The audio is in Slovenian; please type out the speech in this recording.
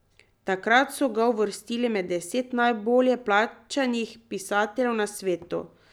Takrat so ga uvrstili med deset najbolje plačanih pisateljev na svetu.